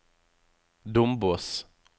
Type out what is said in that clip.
Dombås